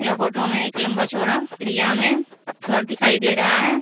Photo में एक लंबा चौड़ा त्रिया में घर दिखाई दे रहा है।